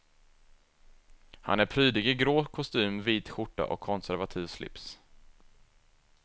Han är prydlig i grå kostym, vit skjorta och konservativ slips.